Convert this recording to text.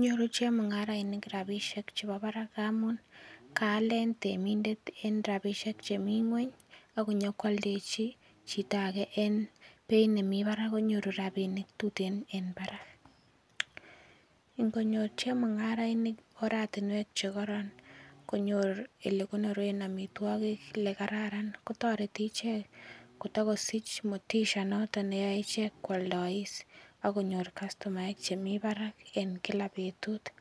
nyoru chemung'arainik rabishek chebo barak ngaamun kaalen en temindet en rabishek chemi ng'weny akonyolwoldechi chito age en beit nemi barak konyoru rapinik tutin en barak ngonyor chemung'arainik oratinwek chekoron konyor ole konoren omitwokik ole kararan kotoreti ichek kotikosich motisha noto neyoei ichek kwoldois akonyor kastomaek chemi barak en kila betut